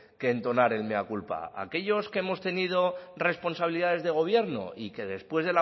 que entonar el mea culpa aquellos que hemos tenido responsabilidades de gobierno y que después